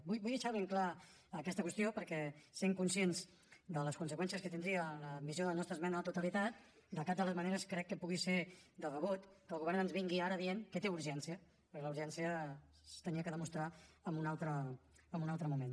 vull deixar ben clara aquesta qüestió perquè sent conscients de les conseqüències que tindria l’admissió de la nostra esmena a la totalitat de cap de les maneres crec que pugui ser de rebut que el govern ens vingui ara dient que té urgència perquè la urgència s’havia de demostrar en un altre moment